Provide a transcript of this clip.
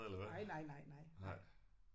Nej nej nej nej nej